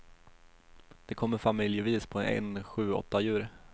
De kommer familjevis på en sju åtta djur.